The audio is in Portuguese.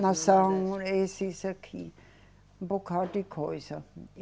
Nação, esses aqui, um bocado de coisa.